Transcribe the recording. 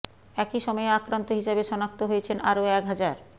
একই সময়ে আক্রান্ত হিসেবে শনাক্ত হয়েছেন আরও এক হাজার